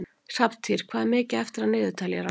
Hrafntýr, hvað er mikið eftir af niðurteljaranum?